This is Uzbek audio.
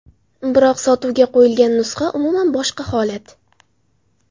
Biroq sotuvga qo‘yilgan nusxa umuman boshqa holat.